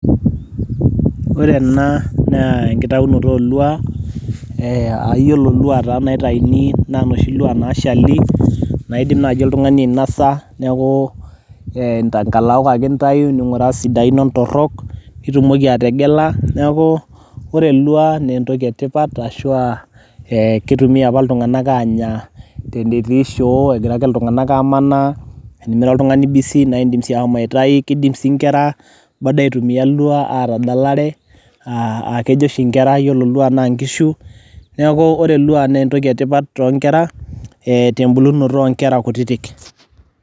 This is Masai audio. ore ena naa enkitaunoto olua eh ayiolo ilua taa naitaini naa inoshi lua nashali naidim naaji oltung'ani ainasa neku eh, nkalaok ake intayu ning'uraa isidain ontorrok nitumoki ategela neku ore ilua nentoki etipat ashua eh kitumia apa iltung'anak anya tenetii shoo egira ake iltung'anak amanaa enimira oltung'ani busy naa indim sii ahomo aitai kidim sii inkera bado aitumia ilua atadalare uh, akejoshi inkera yiolo ilua naa nkishu neeku ore ilua naa entoki etipat tonkera eh, tembulunoto onkera kutitik.